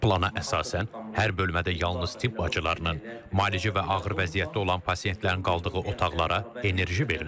Plana əsasən, hər bölmədə yalnız tibb bacılarının, müalicə və ağır vəziyyətdə olan pasiyentlərin qaldığı otaqlara enerji verilir.